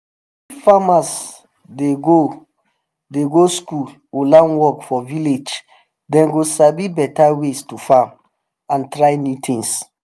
if farmers dey go dey go school or learn work for village dem go sabi better ways to farm and try new things.